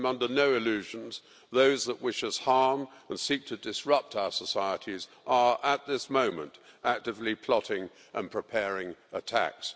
But I am under no illusions those that wish us harm and seek to disrupt our societies are at this moment actively plotting and preparing attacks.